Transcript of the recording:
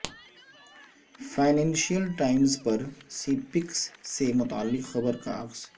financial Times پر CPEC سے متعلق خبر کا عکس